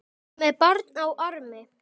Með barn á armi?